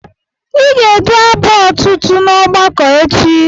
Ị ga-edu abụ otuto n'ọgbakọ echi.